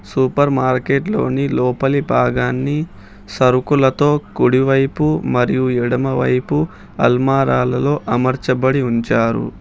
Super మార్కెట్లోని లోపలి భాగాన్ని సరుకులతో కుడివైపు మరియు ఎడమవైపు అల్మారాలలో అమర్చబడి ఉంచారు.